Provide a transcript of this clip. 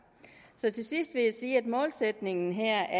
til sidst vil jeg sige at målsætningen her